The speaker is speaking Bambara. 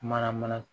Mana mana